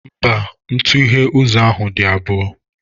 Mba, ntughe ụzọ ahụ dị abụọ.